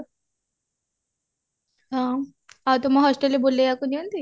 ହଁ ଆଉ ତୁମ hostelରେ ବୁଲେଇବାକୁ ନିଅନ୍ତି